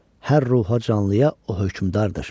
Hər ruha canlıya o hökmdardır.